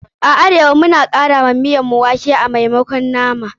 A arewa, muna kara wake wa miyan mu a maimakon nama.